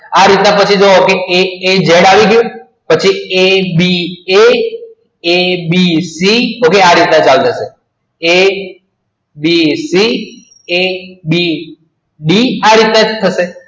આ રીતના જોવો aaz આવી ગયું abc આ રીત ના ચાલુ થસે abcd abcd આ રીત ના થસે